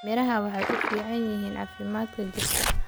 Miraha waxay u fiican yihiin caafimaadka jidhka.